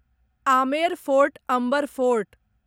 Amer fort Amber fort